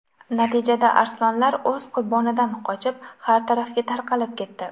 Natijada arslonlar o‘z qurbonidan qochib, har tarafga tarqalib ketdi.